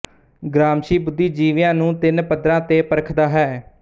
Gramsci ਬੁੱਧੀਜੀਵੀਆਂ ਨੂੰ ਤਿਨ ਪੱਧਰਾਂ ਤੇ ਪਰਖਦਾ ਹੈ